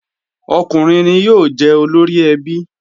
Ọkùnrin ni yóò jẹ́ olóríẹbí